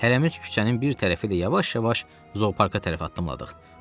Hələmiz küçənin bir tərəfi ilə yavaş-yavaş zooparka tərəf addımladıq.